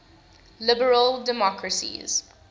liberal democracies